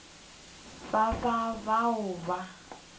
ba ba ba boa ba